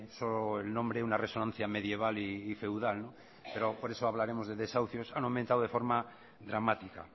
solo el nombre una resonancia medieval y feudal por eso hablaremos de desahucios que han aumentado de forma dramática